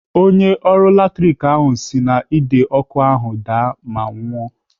Onye ọrụ latrik ahụ si n'Ide ọkụ ahụ daa ma nwụọ.